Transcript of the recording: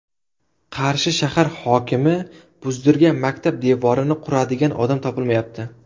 Qarshi shahar hokimi buzdirgan maktab devorini quradigan odam topilmayapti.